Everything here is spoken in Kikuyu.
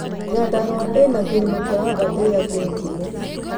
Nyandarua ĩna kĩrĩma kĩa Aberdare kĩ ngumo.